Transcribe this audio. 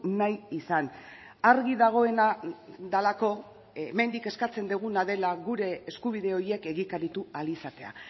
nahi izan argi dagoena delako hemendik eskatzen duguna dela gure eskubide horiek egikaritu ahal izatea